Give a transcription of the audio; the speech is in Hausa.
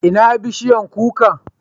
Ina bishiyan kukan?